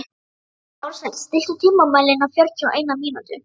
Ársæll, stilltu tímamælinn á fjörutíu og eina mínútur.